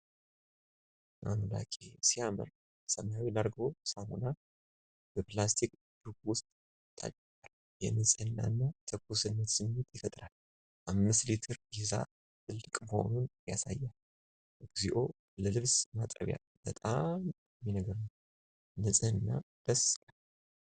አምላኬ! ሲያምር! ሰማያዊ ላርጎ ሳሙና በፕላስቲክ ጆግ ውስጥ ታጭቋል። የንጽህና እና ትኩስነት ስሜትን ይፈጥራል። 5 ሊትር ይዛ፣ ትልቅ መሆኑን ያሳያል። እግዚኦ! ለልብስ ማጠቢያ በጣም ጠቃሚ ነገር ነው! ንጽህና ደስ ይላል።